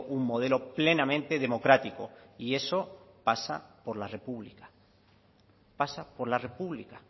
un modelo plenamente democrático y eso pasa por la república pasa por la república